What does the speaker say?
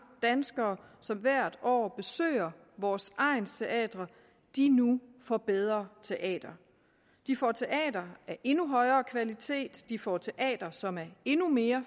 danskere som hvert år besøger vores egnsteatre nu får bedre teatre de får teatre af endnu højere kvalitet de får teatre som er endnu mere